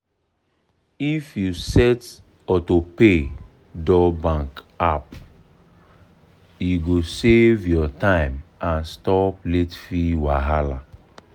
if you set auto pay dor bank app e go save your time and stop late fee wahala.